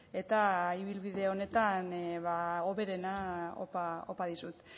eta ibilbide honetan hoberena opa dizut